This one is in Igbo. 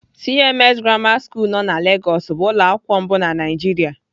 CMS grammar school nọ na Lagos bụ ụlọakwụkwọ mbụ na Naịjiria.